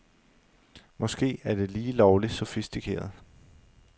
Måske er det lige lovligt sofistikeret.